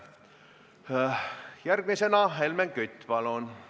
Järgmisena Helmen Kütt, palun!